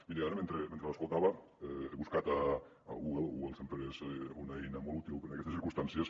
miri ara mentre l’escoltava he buscat a google google sempre és una eina molt útil en aquestes circumstàncies